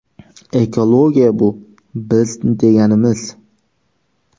Ekologiya bu – biz deganimiz.